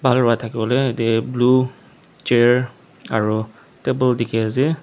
Bhal bra thake bole yate blue chair aro table dekhe ase.